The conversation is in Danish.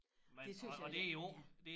Det tøs jeg det er